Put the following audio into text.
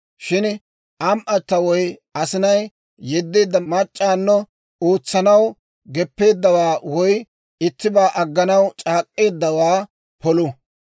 «Shin am"atta woy asinay yeddeedda mac'c'awunno ootsanaw geppeeddawaa woy ittibaa agganaw c'aak'k'eeddawaa polu.